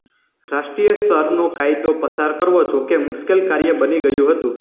રાષ્ટ્રીય સ્તરનો કાયદો પસાર કરવો જો કે મુશ્કેલ કાર્ય બની ગયું હતું